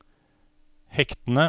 hektene